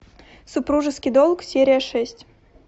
супружеский долг серия шесть